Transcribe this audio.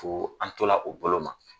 Fo an tola o bolo ma